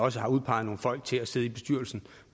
også har udpeget nogle folk til at sidde i bestyrelsen